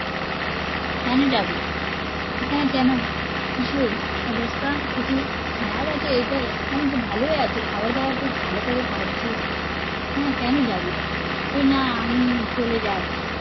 কেন যাবি? এখানে কেন কিসের অবস্থা কিছু খারাপ আছে এখানে তো ভালোই আছিস খাবার দাবার তো ভালো করে পাচ্ছিস হ্যা কেন যাবি বলে না আমি চলে যাই